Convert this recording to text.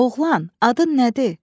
Oğlan, adın nədir?